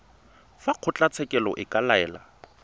fa kgotlatshekelo e ka laela